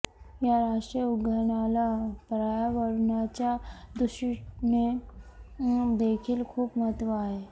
या राष्ट्रीय उद्यानाला पर्यावरणाच्या दृष्टीने देखील खूप महत्व आहे